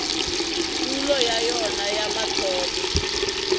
tulo ya yona ya mathomo